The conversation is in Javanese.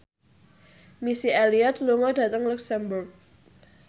Missy Elliott lunga dhateng luxemburg